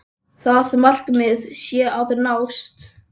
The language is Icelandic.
Það markmið sé að nást.